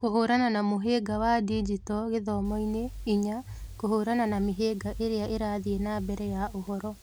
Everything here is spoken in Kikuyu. Kũhũrana na mũhĩnga wa digito gĩthomo-inĩ, (inya) kũhũrana na mĩhĩnga ĩrĩa ĩrathiĩ na mbere ya ũhoro